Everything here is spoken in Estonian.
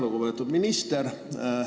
Lugupeetud minister!